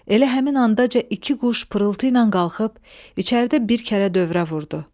Elə həmin anda iki quş pırılıtla qalxıb içəridə bir kərə dövrə vurdu.